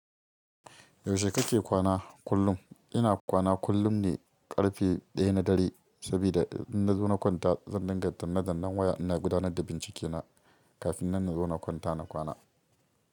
Yaushe kake kwana kullum? Ina kwana kullum ne ƙarfe ɗaya na dare sabida in na zo na kwanta, zan dinga danne-dannen waya ina gudanar da bincike na kafin na zauna kwanta na kwana.